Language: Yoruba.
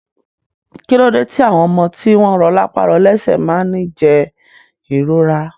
Kílode ti àwọn ọmọ tí wọn rọ lápá rọ lẹsẹ máa ni jẹ ìrora?